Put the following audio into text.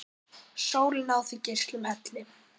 Sólin á þig geislum helli!